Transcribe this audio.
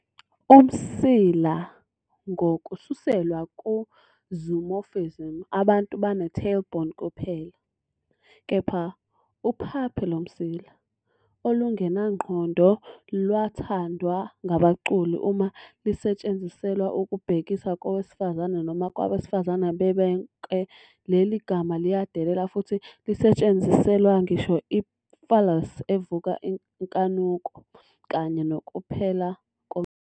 Umsila, ngokususelwa ku-zoomorphism, abantu bane-tail-bone kuphela, kepha "uphaphe lomsila" olungenangqondo lwathandwa ngabaculi. Uma lisetshenziselwa ukubhekisa kowesifazane noma kwabesifazane bebonke, leli gama liyadelela, futhi lisetshenziselwa ngisho i-phallus evusa inkanuko, kanye nokuphela komsila